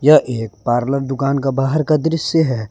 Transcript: यह एक पार्लर दुकान का बाहर का दृश्य है।